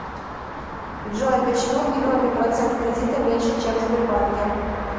джой почему в европе процент кредита меньше чем в сбербанке